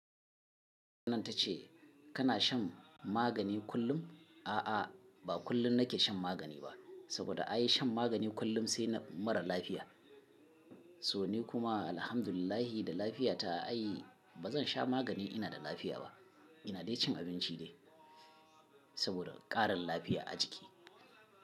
Nan ta ce kana shan magani kullum? A'a, ba kullum nake shan magani ba saboda an yi shan magani kullum sai na mara lafiya. To ni kuma alhamdulillah da lafiya ta ai ba zan sha magani ina da lafiya ba. Ina dai cin abinci dai saboda ƙarin lafiya a jiki.